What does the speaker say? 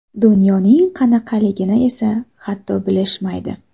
Dunyoning qanaqaligini esa, hatto, bilishmaydi.